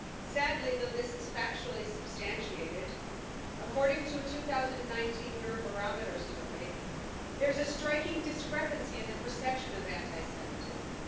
Sadly, though this is factually substantiated, according to a 2019 Eurobarometer survey there's a striking discrepancy in the perception of anti Semitism.